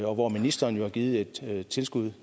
og hvor ministeren jo har givet et tilskud